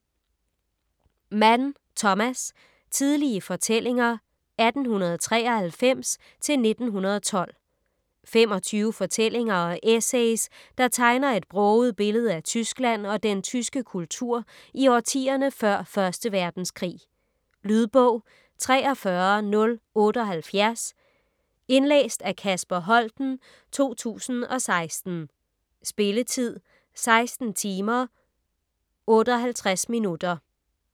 Mann, Thomas: Tidlige fortællinger 1893-1912 25 fortællinger og essays, der tegner et broget billede af Tyskland og den tyske kultur i årtierne før 1. verdenskrig. Lydbog 43078 Indlæst af Kasper Holten, 2016. Spilletid: 16 timer, 58 minutter.